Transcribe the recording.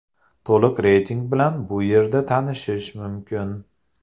To‘liq reyting bilan bu yerda tanishish mumkin.